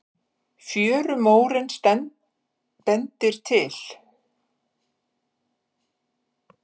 Fjörumórinn bendir til